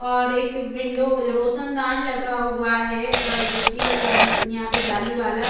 और एक विंडो अ रोशनदान लगा हुआ है अ जो की आ यहाँ पे जाली वाला --